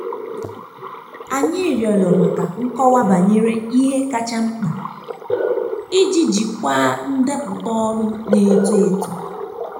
anyị rịọrọ maka nkọwa banyere ihe kacha mkpa iji jikwaa ndepụta ọrụ na-eto eto.